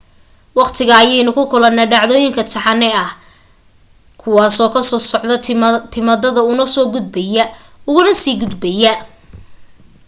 waqtiga ayaynu ula kulanaa dhacdooyin taxane ah ahaan kuwaasoo ka soo socda timaadada una soo gudbaya ugana sii gudbaya